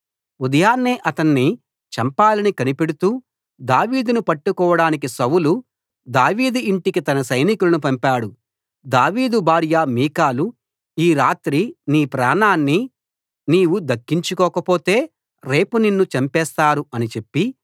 ఉదయాన్నే అతణ్ణి చంపాలని కనిపెడుతూ దావీదును పట్టుకోడానికి సౌలు దావీదు ఇంటికి తన సైనికులను పంపాడు దావీదు భార్య మీకాలు ఈ రాత్రి నీ ప్రాణాన్ని నీవు దక్కించుకోకపోతే రేపు నిన్ను చంపేస్తారు అని చెప్పి